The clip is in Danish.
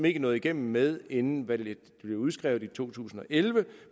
ikke nåede igennem med inden valget blev udskrevet i to tusind og elleve